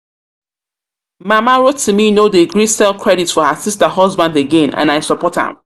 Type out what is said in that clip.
Mama Rotimi no dey gree sell credit for her sister husband again and I support am